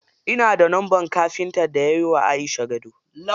Ina da lambar kafintan da yayi wa Aisha gado.